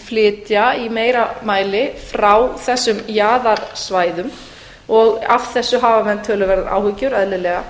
flytja í meira mæli frá þessum jaðarsvæðum og af þessu hafa menn töluverðar áhyggjur eðlilega